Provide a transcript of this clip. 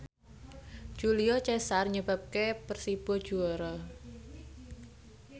Julio Cesar nyebabke Persibo juara